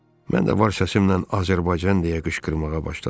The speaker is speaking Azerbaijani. Mən də var səsimlə “Azərbaycan” deyə qışqırmağa başladım.